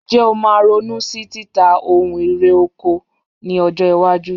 Ǹjẹ́ o máa ronú sí títa ohun irè oko ní ọjọ́-iwájú?